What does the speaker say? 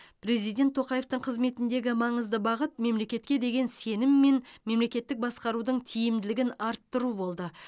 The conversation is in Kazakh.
президент тоқаевтың қызметіндегі маңызды бағыт мемлекетке деген сенім мен мемлекеттік басқарудың тиімділігін арттыру болды